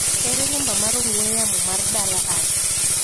Ere namba mar ong'ue yaoi ma dala mar Asha.